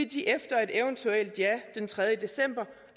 de efter et eventuelt ja den tredje december